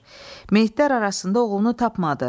Meytlər arasında oğlunu tapmadı.